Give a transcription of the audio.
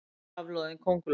vaxin kafloðin könguló.